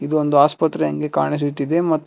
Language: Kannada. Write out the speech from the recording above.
ಇದು ಒಂದು ಆಸ್ಪತ್ರೆಗೆ ಕಾಣಿಸುತ್ತದೆ ಇದು ಮತ್ತು--